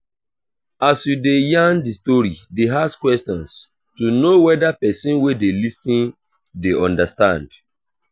as you de yarn di story de ask questions to know whether persin wey de lis ten de understand